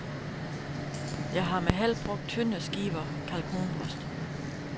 Jeg har med held brugt tynde skiver kalkunbryst.